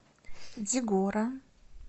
дигора